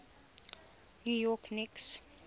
new york knicks